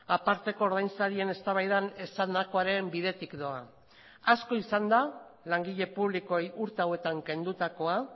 aparteko ordainsarien eztabaidan esandakoaren bidetik doa asko izan da langile publikoei urte hauetan kendutakoa